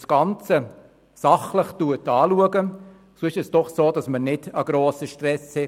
Schaut man das Ganze sachlich an, hat man den Eindruck, wir hätten keinen so grossen Stress.